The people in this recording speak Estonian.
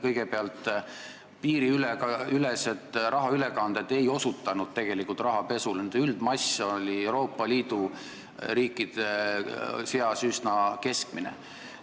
Kõigepealt, piiriülesed rahaülekanded ei osutanud tegelikult rahapesule, nende üldmass oli Euroopa Liidu teiste riikidega võrreldes üsna keskmine.